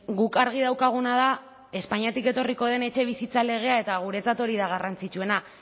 guk argi daukaguna da espainiatik etorriko den etxebizitza legea eta guretzat hori da garrantzitsuena